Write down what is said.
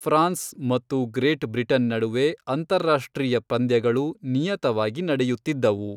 France ಮತ್ತು Great Britain ನಡುವೆ ಅಂತಾರಾಷ್ಟ್ರೀಯ ಪಂದ್ಯಗಳು ನಿಯತವಾಗಿ ನಡೆಯುತ್ತಿದ್ದವು.